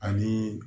Ani